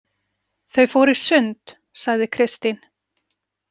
Þau fóru í sund, sagði Kristín.